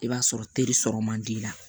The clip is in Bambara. I b'a sɔrɔ teri sɔrɔ man di i la